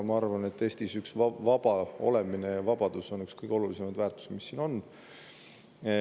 Ma arvan, et vaba olemine ja vabadus on Eestis üks kõige olulisemaid väärtusi, mis siin on.